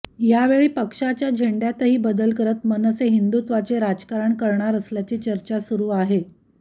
यावेळी पक्षाच्या झेंड्यातही बदल करत मनसे हिंदुत्वाचे राजकारण करणार असल्याची चर्चा सुरु आहे